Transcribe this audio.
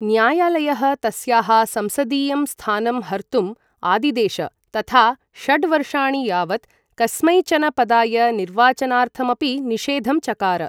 न्यायालयः तस्याः संसदीयं स्थानं हर्तुम् आदिदेश, तथा षड्वर्षाणि यावत् कस्मैचन पदाय निर्वाचनार्थमपि निषेधं चकार।